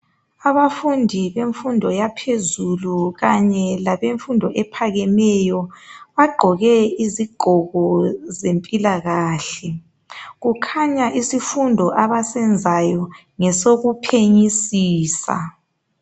Abafundi bemfundo yaphezulu kanye labemfundo ephakemeyo .Bagqoke izigqoko zempilakahle .Kukhanya isifundo abasenzayo ngesokuphenyisisa .